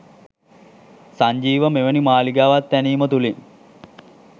සංජීව මෙවෙනි මාලිගාවක් තැනීම තුලින්